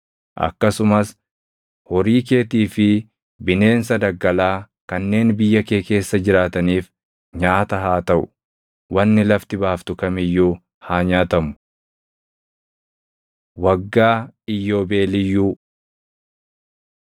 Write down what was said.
akkasumas horii keetii fi bineensa daggalaa kanneen biyya kee keessa jiraataniif nyaata haa taʼu. Wanni lafti baaftu kam iyyuu haa nyaatamu. Waggaa Iyyoobeeliyyuu 25:8‑38 kwi – KeD 15:1‑11 25:39‑55 kwi – Bau 21:2‑11; KeD 15:12‑18